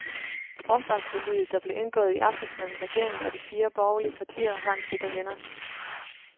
Forsvarsforliget, der blev indgået i aftes mellem regeringen og de fire borgerlige partier, har en sikker vinder.